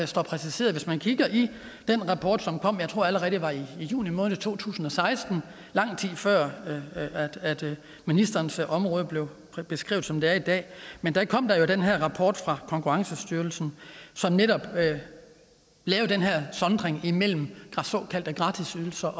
står præciseret i den rapport som kom jeg tror allerede var i juni måned to tusind og seksten lang tid før ministerens område blev beskrevet som det er i dag men der kom der jo den her rapport fra konkurrencestyrelsen som netop lavede den her sondring mellem såkaldte gratisydelser